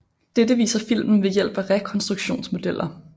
Dette viser filmen ved hjælp af rekonstruktionsmodeller